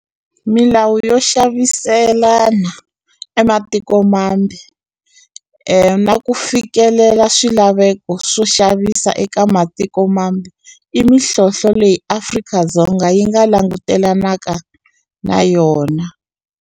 Milawu yo xaviselana ematiko mambe na ku fikelela swilaveko swo xavisa eka matiko mambe i mihlohlo leyi Afrika-Dzonga yi nga langutelanaka na yona.